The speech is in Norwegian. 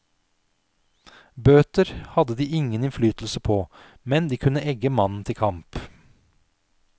Bøter hadde de ingen innflytelse på, men de kunne egge mannen til kamp.